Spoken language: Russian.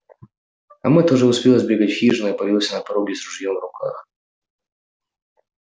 а мэтт уже успел сбегать в хижину и появился на пороге с ружьём в руках